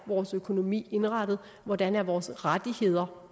vores økonomi er indrettet og hvordan vores rettigheder